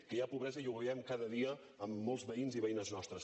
que hi ha pobresa ho veiem cada dia en molts veïns i veïnes nostres